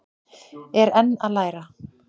Er enn að læra